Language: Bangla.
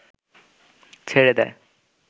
ছেড়ে দেয়